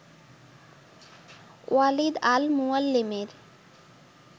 Walid al মুয়াল্লেমের